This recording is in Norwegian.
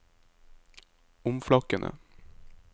omflakkende